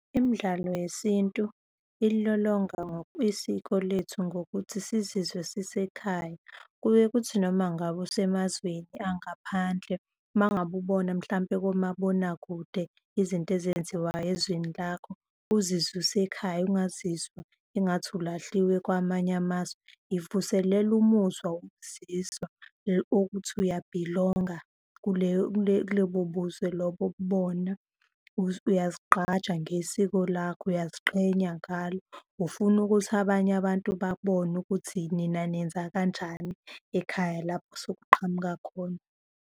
Imidlalo yesintu ilolonga isiko lethu ngokuthi sizizwe sisekhaya. Kuye kuthi noma ngabe usemazweni angaphandle, uma ngabe ubona mhlampe komabonakude izinto ezenziwayo ezweni lakho uzizwe usekhaya ungazizwa engathi ulahliwe kwamanye amazwe. Ivuselela umuzwa wokukuzizwa okuthi uyabhilonga kulobo buzwe lobo okubona, uyazigqaja ngesiko lakho, uyaziqhenya ngalo, ufuna ukuthi abanye abantu babone ukuthi nina nenza kanjani ekhaya lapho osokuqhamuka khona.